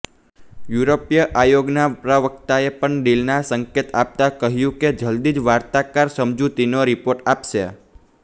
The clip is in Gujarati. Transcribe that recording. યુરોપીય આયોગના પ્રવક્તાએ પણ ડીલના સંકેત આપતા કહ્યું કે જલદી જ વાર્તાકાર સમજૂતીનો રિપોર્ટ આપશે